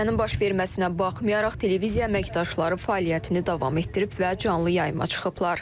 Hadisənin baş verməsinə baxmayaraq televiziya əməkdaşları fəaliyyətini davam etdirib və canlı yayıma çıxıblar.